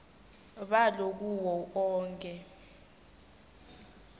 balo kuwo onkhe